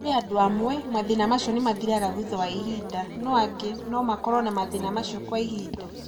Kũrĩ andũ amwe, mathĩĩna acio nĩ mathiraga thutha wa ihinda, no angĩ no makorũo na mathĩĩna acio kwa ihinda.